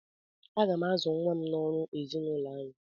Aga m azụ nwa m n'ọrụ ezinaụlọ anyị